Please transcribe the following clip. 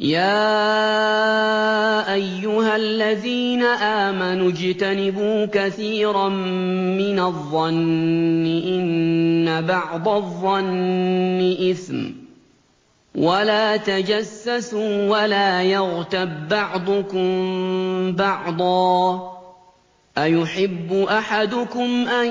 يَا أَيُّهَا الَّذِينَ آمَنُوا اجْتَنِبُوا كَثِيرًا مِّنَ الظَّنِّ إِنَّ بَعْضَ الظَّنِّ إِثْمٌ ۖ وَلَا تَجَسَّسُوا وَلَا يَغْتَب بَّعْضُكُم بَعْضًا ۚ أَيُحِبُّ أَحَدُكُمْ أَن